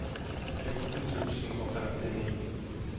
fjorten tusen og femtini